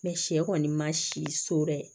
sɛ kɔni ma si so dɛ